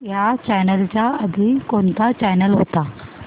ह्या चॅनल च्या आधी कोणता चॅनल होता